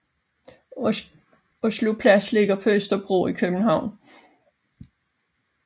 Oslo Plads ligger på Østerbro i København